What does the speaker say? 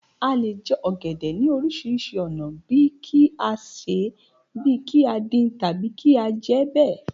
A lè jẹ ọ̀gẹ̀dẹ̀ ní oríṣiríṣi ònà bíí kí á ṣèé, bí kí á dín, tàbí kí á jẹẹ́ bẹ̀.